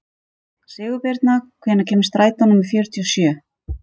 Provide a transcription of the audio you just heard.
Sigurbirna, hvenær kemur strætó númer fjörutíu og sjö?